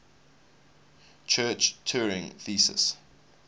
church turing thesis